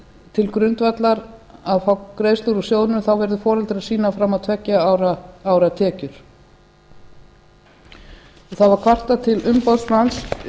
til grundvallar að fá greiðslur úr sjóðnum þá verði foreldrar að sýna fram á tveggja ára tekjur það var kvartað til umboðsmanns